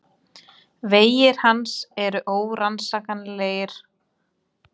Vegir hans eru órannsakanlegir, segja karlarnir.